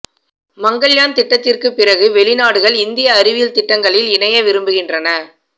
மங்கள்யான் திட்டத்திற்கு பிறகு வெளிநாடுகள் இந்திய அறிவியல் திட்டங்களில் இணைய விரும்புகின்றன